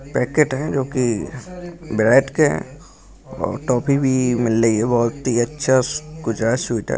Packet है जो की ब्रेड के है और टॉफी भी मिल रही है बहुत ही अच्छा कुछ है स्वीट है।